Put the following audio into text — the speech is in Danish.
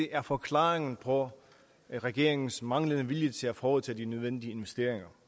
er forklaringen på regeringens manglende vilje til at foretage de nødvendige investeringer